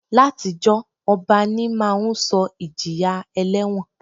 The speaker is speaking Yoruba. Látijọ́, ọba ní máa ń sọ ìjìyà ẹlẹ́wọ̀n